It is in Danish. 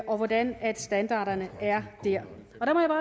og hvordan standarderne er der